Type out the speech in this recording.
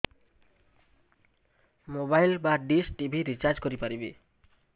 mobile ବା dish TV recharge କରି ପାରିବି